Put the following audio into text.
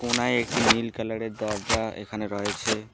কোনায় একটি নীল কালারের দরজা এখানে রয়েছে।